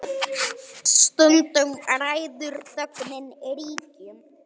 Stundum ræður þögnin ríkjum.